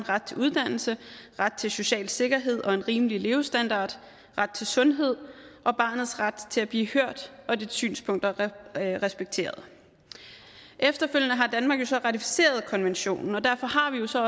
ret til uddannelse ret til social sikkerhed og en rimelig levestandard ret til sundhed og barnets ret til at blive hørt og dets synspunkter respekteret efterfølgende har danmark jo så ratificeret konventionen og derfor har vi jo så